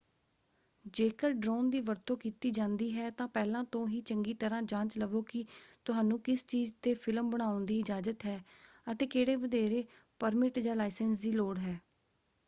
ਜੇਕਰ ਡਰੋਨ ਦੀ ਵਰਤੋਂ ਕੀਤੀ ਜਾਂਦੀ ਹੈ ਤਾਂ ਪਹਿਲਾਂ ਤੋਂ ਹੀ ਚੰਗੀ ਤਰ੍ਹਾਂ ਜਾਂਚ ਲਵੋ ਕਿ ਤੁਹਾਨੂੰ ਕਿਸ ਚੀਜ਼ ‘ਤੇ ਫਿਲਮ ਬਣਾਉਣ ਦੀ ਇਜਾਜ਼ਤ ਹੈ ਅਤੇ ਕਿਹੜੇ ਵਧੇਰੇ ਪਰਮਿਟ ਜਾਂ ਲਾਇਸੈਂਸ ਦੀ ਲੋੜ ਹੈ।